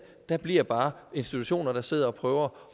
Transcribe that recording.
der bliver bare institutioner der sidder og prøver